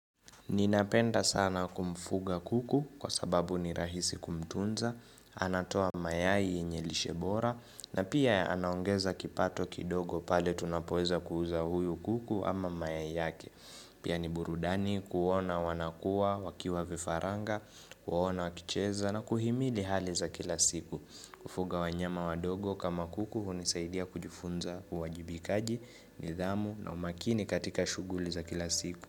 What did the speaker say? Ninapenda sana kumfuga kuku kwa sababu ni rahisi kumtunza, anatoa mayai yenye lishe bora na pia anaongeza kipato kidogo pale tunapoweza kuuza huyu kuku ama mayai yake. Pia ni burudani kuona wanakuwa wakiwa vifaranga, kuona wakicheza na kuhimidi hali za kila siku. Kufuga wanyama wadogo kama kuku hunisaidia kujifunza uwajibikaji, nidhamu na umakini katika shuguli za kila siku.